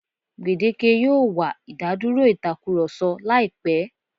Gbèdéke yóò wà ìdádúrò ìtakurọ̀sọ láìpẹ́.